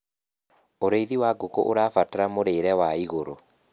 ũrĩithi wa ngũkũ ũrabatara mũrĩre wa igũrũ